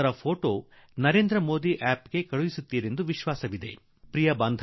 ಅದರ ಚಿತ್ರವನ್ನು ನರೇಂದ್ರ ಮೋದಿ ಅಪ್ ನಲ್ಲಿ ಖಂಡಿತಾ ಕಳುಹಿಸಿ ದೇಶದಲ್ಲಿ ಒಂದು ವಾತಾವರಣ ನಿರ್ಮಾಣ ಮಾಡಿ